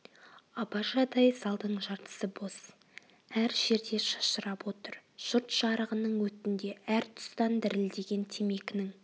абажадай залдың жартысы бос әр жерде шашырап отыр жұрт жарығының өтінде әр тұстан дірілдеген темекінің